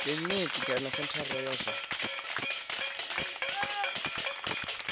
kiliniki kana sentharani ya zwa